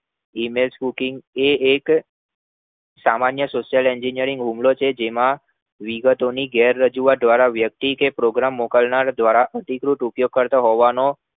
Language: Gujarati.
Email સુ એ એક સામાન્ય social engineering હુમલો છે જેમાં વિગતો ની ગેર રજૂઆત દ્વારા વ્યક્તિ કે program મોકલ્નાર દ્વારા અધિકૃત કરતો હોવાનો